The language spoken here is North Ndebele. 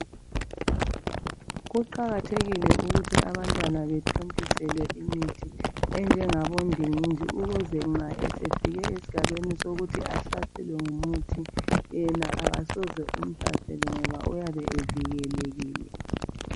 Kuqakathekile ukuthi abantwana bathontiselwe imithi enjengabo ending ndingindi ukuze ukuze nxa esefike esigabeni ukuze ahlaselwe ngumuthi yena kasezo umhlasele ngoba uyabe evikilekile